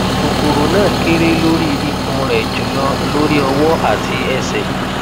kokoro na kere lori ikun re julo lori owo ati ese